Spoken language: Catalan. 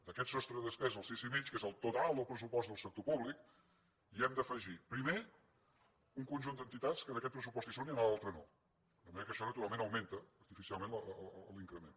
a aquest sostre de despesa al sis i mig que és el total del pressupost del sector públic hi hem d’afegir primer un conjunt d’entitats que en aquest pressupost hi són i en l’altre no de manera que això naturalment augmenta artificialment l’increment